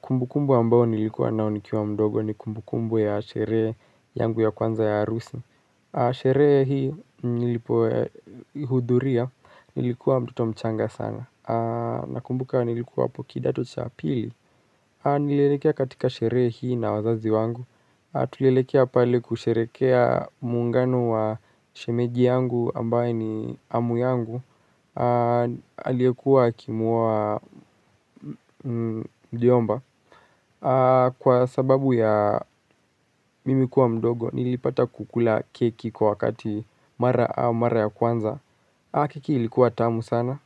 Kumbukumbu ambayo nilikua nayo nikiwa mdogo ni kumbukumbu ya sherhee yangu ya kwanza ya harusi Sherehe hii nilipoihudhuria nilikuwa mtoto mchanga sana. Nakumbuka nilikuwa hapo kidato cha pili Nililekea katika sherehe hii na wazazi wangu. Tulilekea pale kusherehekea muungano wa shemeji yangu ambaye ni amu yangu aliyekuwa akimuoa mjomba. Kwa sababu ya mimi kuwa mdogo nilipata kukula keki kwa wakati mara ya kwanza keki ilikuwa tamu sana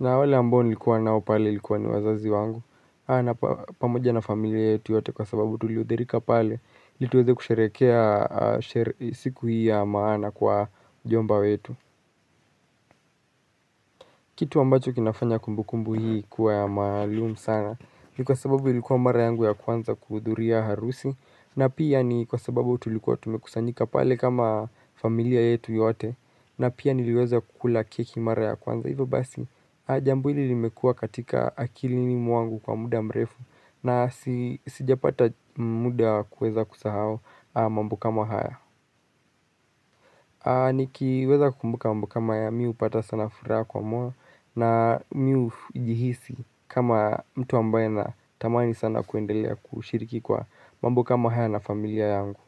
na wale ambao nilikuwa nao pale ilikuwa ni wazazi wangu na pamoja na familia yetu yote kwa sababu tulihudhurika pale ili tuweze kusherehekea siku hii ya maana kwa mjomba wetu Kitu ambacho kinafanya kumbukumbu hii kuwa ya maalum sana ni kwa sababu ilikuwa mara yangu ya kwanza kuhudhuria harusi na pia ni kwa sababu tulikuwa tumekusanyika pale kama familia yetu yote na pia niliweza kukula keki mara ya kwanza. Hivya basi, jambo hili limekua katika akilini mwangu kwa muda mrefu na sijapata muda kuweza kusahao mambo kama haya. Nikiweza kumbuka mambo kama haya mimi hupata sana furaha kwa moyo na mimi hujihisi kama mtu ambaye anatamani sana kuendelea kushiriki kwa mambo kama haya na familia yangu.